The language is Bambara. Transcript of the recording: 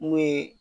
N'o ye